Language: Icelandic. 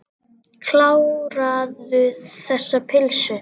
Kláraðu þessa pylsu.